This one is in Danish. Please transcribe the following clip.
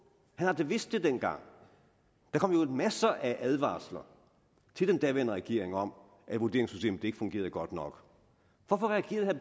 han har da vidst det dengang der kom jo masser af advarsler til den daværende regering om at vurderingssystemet ikke fungerede godt nok hvorfor reagerede